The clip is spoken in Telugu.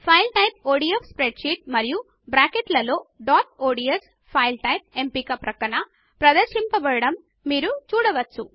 file type ODF spreadsheet మరియు బ్రాకెట్ల లో డాట్ ఒడిఎస్ ఫైల్ టైప్ ఎంపిక ప్రక్కన ప్రదర్శింపబడడం మీరు చూడవచ్చు